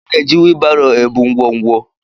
A na-eji wheelbaro ebu ngwongwo.